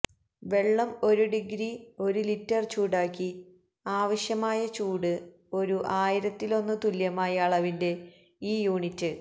വെള്ളം ഒരു ഡിഗ്രി ഒരു ലിറ്റർ ചൂടാക്കി ആവശ്യമായ ചൂട് ഒരു ആയിരത്തിലൊന്നു തുല്യമായ അളവിന്റെ ഈ യൂണിറ്റ്